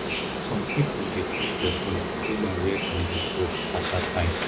some pipo dey choose perfume based on where dem dey go at that time